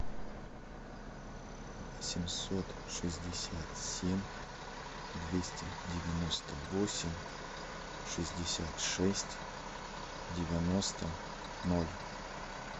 восемьсот шестьдесят семь двести девяносто восемь шестьдесят шесть девяносто ноль